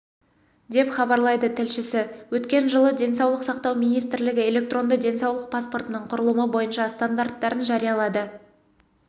деп хабарлайды тілшісі өткен жылы денсаулық сақтау министрлігі электронды денсаулық паспортының құрылымы бойынша стандарттарын жариялады